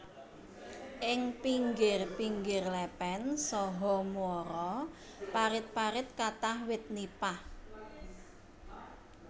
Ing pingir pingir lépén saha muara parit parit kathah wit nipah